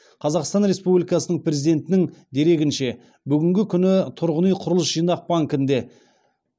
қазақстан республикасының президентінің дерегінше бүгінгі күні тұрғын үй құрылыс жинақ банкінде